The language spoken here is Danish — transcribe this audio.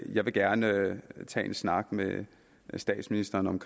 jeg vil gerne tage en snak med statsministeren om